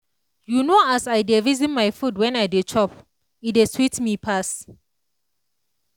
you know as i dey reason my food when i dey chop e dey sweet me pass.